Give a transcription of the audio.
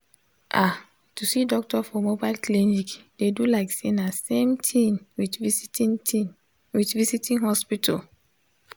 ah to see doctor for mobile clinic dey do like say na same thing with visiting thing with visiting hospital